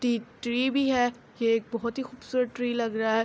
T tree بھی ہے۔ یہ ایک بہت ہی خوبصورت ٹری لگ رہا ہے۔